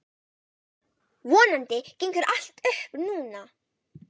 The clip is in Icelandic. Vonandi gengur allt upp núna.